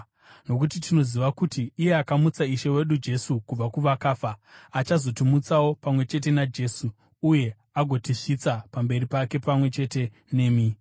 nokuti tinoziva kuti iye akamutsa Ishe wedu Jesu kubva kuvakafa achazotimutsawo pamwe chete naJesu uye agotisvitsa pamberi pake pamwe chete nemi.